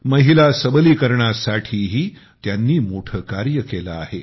महिला सबलीकरणासाठीही त्यांनी मोठे कार्य केले आहे